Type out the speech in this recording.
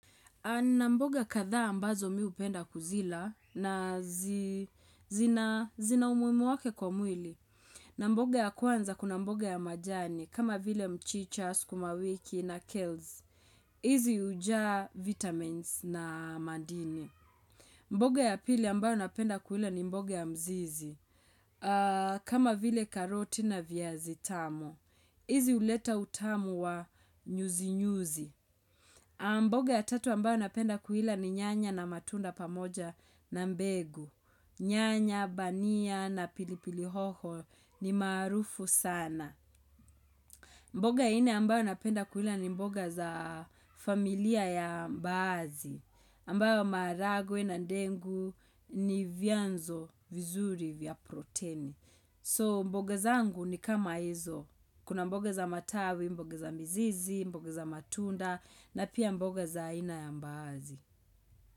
Na mboga kadhaa ambazo miupenda kuzila na zina umuimu wake kwa mwili. Na mboga ya kwanza kuna mboga ya majani kama vile mchicha, skumawiki na kales. Izi ujaa vitamins na madini. Mboga ya pili ambayo napenda kuila ni mboga ya mzizi. Kama vile karoti na viazitamu. Izi uleta utamu wa nyuzi-nyuzi. Mboga ya tatu ambayo napenda kuila ni nyanya na matunda pamoja na mbegu. Nyanya, bania na pilipili hoho ni maarufu sana. Mboga ya nne ambayo napenda kula ni mboga za familia ya mbaazi. Ambayo maharagwe na ndengu ni vyanzo vizuri vya proteni. So mboga zangu ni kama hizo Kuna mboga za matawi, mboga za mizizi, mboga za matunda na pia mboga za aina ya mbaazi.